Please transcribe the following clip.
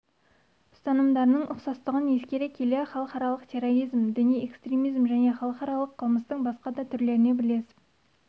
ұстанымдарының ұқсастығын ескере келе халықаралық терроризм діни экстремизм және халықаралық қылмыстың басқа да түрлеріне бірлесіп